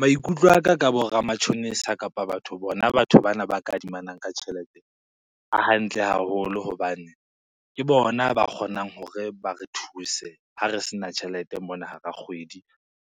Maikutlo a ka, ka bo ramatjhonisa kapa bona batho bana ba kadimana ka tjhelete, a hantle haholo hobane ke bona ba kgonang hore ba re thuse ha re se na tjhelete mona hara kgwedi,